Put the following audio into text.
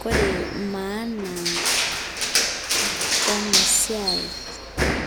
Kore maana ena siai